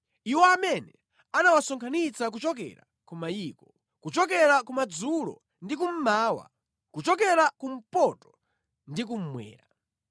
iwo amene anawasonkhanitsa kuchokera ku mayiko, kuchokera kumadzulo ndi kummawa, kuchokera kumpoto ndi kummwera.